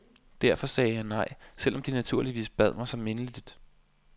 Derfor sagde jeg nej, selv om de naturligvis bad mig så mindeligt.